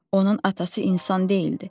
Onun atası insan deyildi.